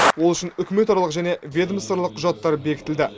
ол үшін үкіметаралық және ведомствоаралық құжаттар бекітілді